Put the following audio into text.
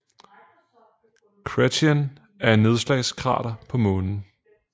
Chrétien er et nedslagskrater på Månen